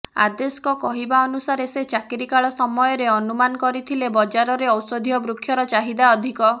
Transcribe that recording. ଆଦେଶଙ୍କ କହିବା ଅନୁସାରେ ସେ ଚାକିରିକାଳ ସମୟରେ ଅନୁମାନ କରିଥିଲେ ବଜାରରେ ଔଷଧୀୟ ବୃକ୍ଷର ଚାହିବା ଅଧିକ